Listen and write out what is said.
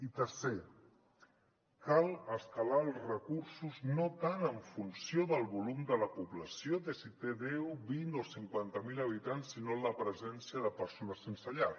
i tercer cal escalar els recursos no tant en funció del volum de la població de si té deu vint o cinquanta mil habitants sinó de la presència de persones sense llar